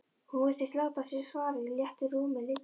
Hún virtist láta sér svarið í léttu rúmi liggja.